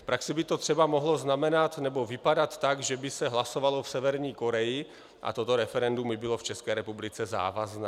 V praxi by to třeba mohlo znamenat nebo vypadat tak, že by se hlasovalo v Severní Koreji a toto referendum by bylo v České republice závazné.